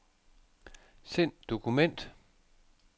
Send dokument.